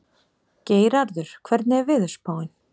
Geirarður, hvernig er veðurspáin?